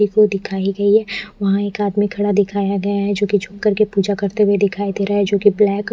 ये फोटो दिखाई गयी है वहा एक आदमी खड़ा दिखाया गया है जो की कुछ कर के पूजा करते हुए दिखाई दे रहा है जो की ब्लैक --